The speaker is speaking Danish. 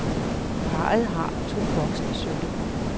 Parret har to voksne sønner.